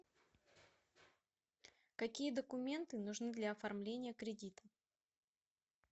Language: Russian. какие документы нужны для оформления кредита